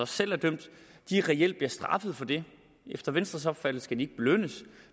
selv er dømt reelt bliver straffet for det efter venstres opfattelse skal de ikke belønnes